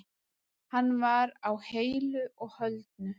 Hann var á heilu og höldnu